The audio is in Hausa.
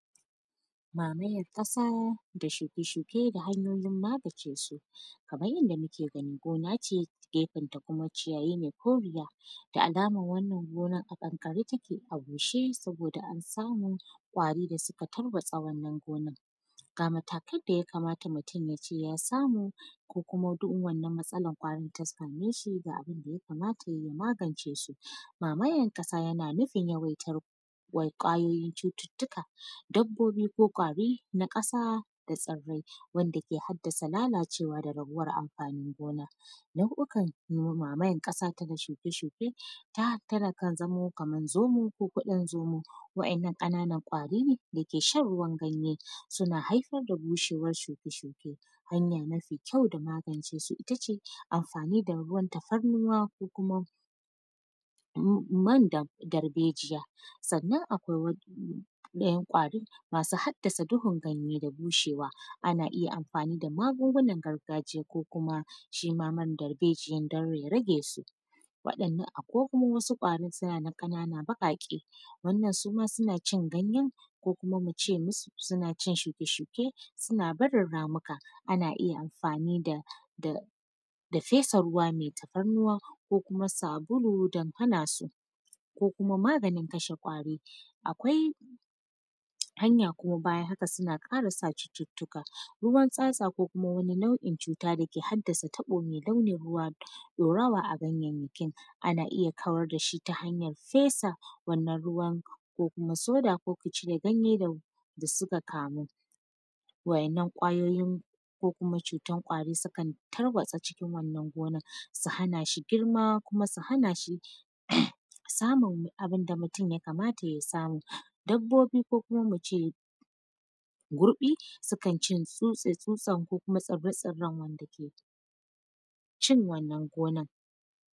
Mamayar kasa da shuke-shuke da hanyoyin magance su, kamar yadda muke gani gona ce a gefenta kuma ciyayi ne ko guda da alama wannan gona a kankare take a bushe saboda an samu ƙwari da suka tarwasa wannan gonar, ga matakan da ya kamata mutum yace ya samu ko kuma wata wannan matsalar ƙwari ta same shi ga abun da ya kamata yayi ya magance su mamayar kasa yana nufin yawaitar ƙwayoyin cututtuka dabbobi ko ƙwari na kasa da tsirai wanda ke hadasa la lacewa da rabuwar amfanin gonan, nau’okan mamayar kasa da shuke-shuke takan zamo kamar zomo ko kudin zoma waɗannan kananan ƙwari dake shan ruwan ganye suna haifar da bushewar shuke-shuke hanya mafi kyau da magance sui ta ce amfani da ruwan tafarnuwa ko kuma man darɓejiya sannan akwai ɗayan ƙwarin masu hadasa duhun ganye da bushewa ana iya amfani da magungunar gargajiya ko kuma shima man darbejiyan dan ya rage su, banda waɗannan akwai kuma wasu ƙwarin suna nan kanana baƙaƙe wanda suma suna cin ganye ko kuma mu ce masu suna cin shuke-shuke suna barin ramuka ana iya amfani da fesa ruwa mai tafarnuwa ko kuma sabulu don hana su ko kuma maganin kashe ƙwari, akwai hanya kuma bayan haka kuma suna kara sa cututtuka ruwan tsatsa ko kuma nau’in cuta da ke hadasa, wani nau’in ruwa ya wasa a ganyayyakin ana iya kawar da shi ta na hanyar fesa wannan ruwan ko kuma shire kanyan da suka kamu, wannan ƙwarorin ko kuma cutar kwari sukan tarwasa cikin wannan gonar su hana shi girma kuma su hana shi samun abun da mutum ya kamata ya samu, dabbobi ko kuma mu ce goɗi sukan ci tsutsa-tsutsa ko kuma saba-saban wanda ke cin wannan gonar.